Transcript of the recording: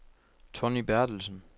Tonny Bertelsen